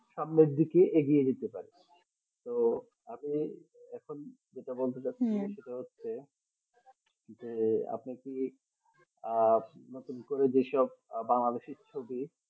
সামনের দিকে এগিয়ে যেতে চাই তো আমি এখন যেটা বলতে যাচ্ছিলাম সেটা হচ্ছে যে আপনি কি আহ নতুন করে যে সব বাংলাদেশ এর ছবি।